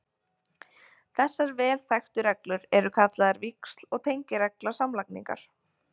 Þessar vel þekktu reglur eru kallaðar víxl- og tengiregla samlagningar.